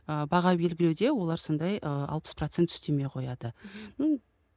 ы баға белгілеуде олар сондай ы алпыс процент үстеме қояды